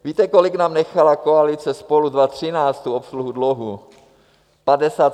Víte, kolik nám nechala koalice Spolu 2013 tu obsluhu dluhu?